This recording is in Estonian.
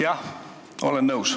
Jah, olen nõus.